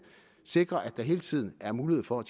sikre at der hele tiden er mulighed for at